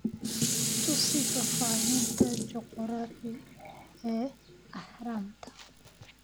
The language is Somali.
tusi faahfaahinta juqraafi ee Ahraamta